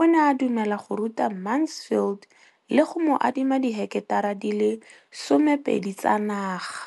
o ne a dumela go ruta Mansfield le go mo adima di heketara di le 12 tsa naga.